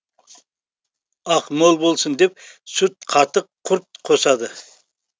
ақ мол болсын деп сүт қатық құрт қосады